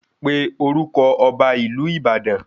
Pe orúkọ ọba ìlú Ìbàdàn